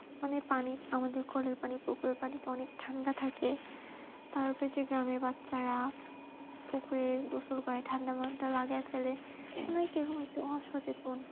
মানে পানি আমাদের কলের পানি পুকুরের পানি অনেক ঠান্ডা থাকে তারপরে যে গ্রামের বাচ্চারা পুকুরের গোসল করে ঠান্ডার মধ্যে কেমন একটা